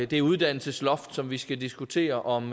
det uddannelsesloft som vi skal diskutere om